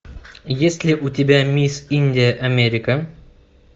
есть ли у тебя мисс индия америка